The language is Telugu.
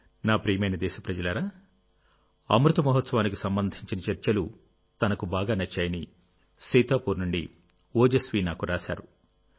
నా ప్రియమైన దేశప్రజలారా అమృత మహోత్సవానికి సంబంధించిన చర్చలు తనకు బాగా నచ్చాయని సీతాపూర్ నుండి ఓజస్వీ నాకు రాశారు